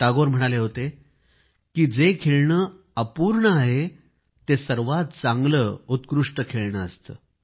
टागोर म्हणाले होते की जे खेळणे अपूर्ण आहे ते सर्वात चांगले उत्कृष्ट खेळणे असते